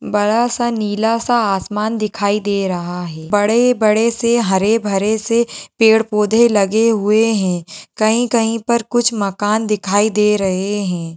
बड़ा सा नीला सा आसमान दिखाई दे रहा है बड़े-बड़े से हरे-भरे से पेड़ पौधे लगे हुए हैं कहीं-कहीं पर कुछ मकान दिखाई दे रहे हैं।